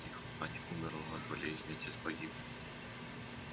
их мать умерла от болезни отец погиб